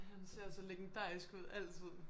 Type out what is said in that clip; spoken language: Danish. Han ser så legendarisk ud altid